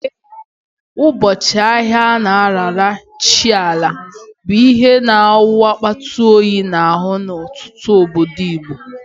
Eke, ụbọchị ahịa a na-arara chi Ala, bụ ihe na-awụ akpata oyi n'ahụ n'ọtụtụ obodo Igbo.